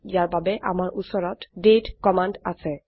ইয়াৰ বাবে আমাৰ উচৰত দাঁতে কমান্ড আছে